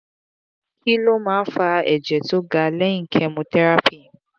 kí ló máa ń fa ẹ̀jẹ̀ tó ga lẹ́yìn chemotherapy